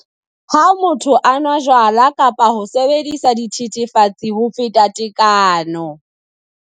lHa motho a nwa jwala kapa a sebedisa dithethefatsi ho feta tekano.